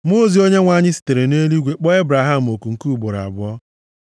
Mmụọ ozi Onyenwe anyị sitere nʼeluigwe kpọọ Ebraham oku nke ugboro abụọ,